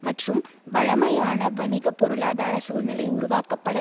மற்றும் வழமையான வணிக பொருளாதார சூழ்நிலை உருவாக்கப்பட